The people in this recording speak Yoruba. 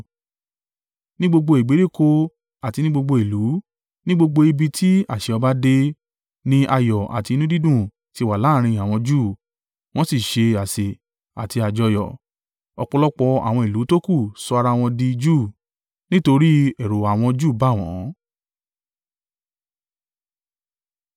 Ní gbogbo ìgbèríko àti ní gbogbo ìlú, ní gbogbo ibi tí àṣẹ ọba dé, ni ayọ̀ àti inú dídùn ti wà láàrín àwọn Júù, wọ́n sì ń ṣe àsè àti àjọyọ̀. Ọ̀pọ̀lọpọ̀ àwọn ìlú tókù sọ ara wọn di Júù nítorí ẹ̀rù àwọn Júù bà wọ́n.